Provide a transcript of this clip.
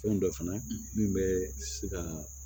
Fɛn dɔ fana min bɛ se ka